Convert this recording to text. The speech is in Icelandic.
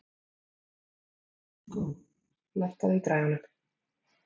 Húgó, lækkaðu í græjunum.